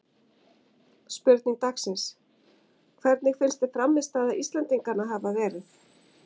Spurning dagsins: Hvernig finnst þér frammistaða Íslendinganna hafa verið?